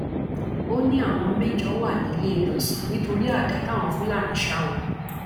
ó ní àwọn mẹjọ wà níléelọsàn nítorí àdá táwọn fúlàní sá wọn